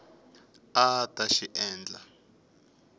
a a ta xi endla